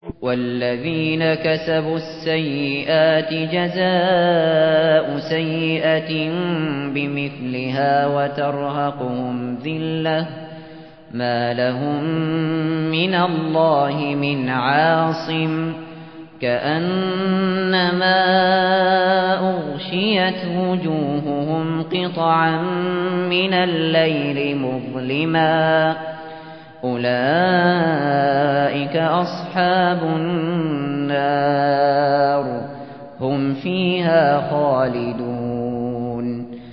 وَالَّذِينَ كَسَبُوا السَّيِّئَاتِ جَزَاءُ سَيِّئَةٍ بِمِثْلِهَا وَتَرْهَقُهُمْ ذِلَّةٌ ۖ مَّا لَهُم مِّنَ اللَّهِ مِنْ عَاصِمٍ ۖ كَأَنَّمَا أُغْشِيَتْ وُجُوهُهُمْ قِطَعًا مِّنَ اللَّيْلِ مُظْلِمًا ۚ أُولَٰئِكَ أَصْحَابُ النَّارِ ۖ هُمْ فِيهَا خَالِدُونَ